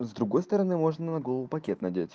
с другой стороны можно на голову пакет надеть